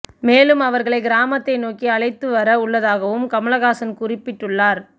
மேலும் அவர்களை கிராமத்தை நோக்கி அழைத்து வர உள்ளதாகவும் கமலஹாசன் குறிப்பிட்டுள்ளார்